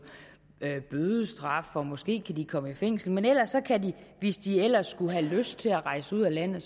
bødestraf og måske kan de komme i fængsel men ellers kan de hvis de ellers skulle have lyst til at rejse ud af landet